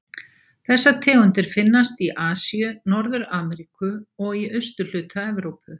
Þessar tegundir finnast í Asíu, Norður-Ameríku og í austurhluta Evrópu.